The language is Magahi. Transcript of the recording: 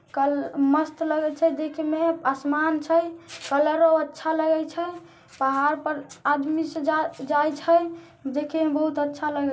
कल मस्त लगे छै देखने में। आसमान छै कलर और अच्छा लगे छै। पहाड़ पर आदमी स जा जाई छै। देखने में बहुत अच्छा लगे --